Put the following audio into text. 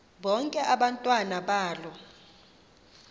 bonke abantwana balo